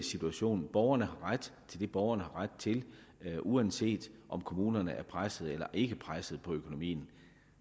situation borgerne har ret til det borgerne har ret til uanset om kommunerne er presset eller ikke er presset på økonomien